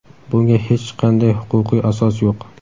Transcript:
Bunga hech qanday huquqiy asos yo‘q.